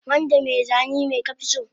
Wanda mai zani me ka fi so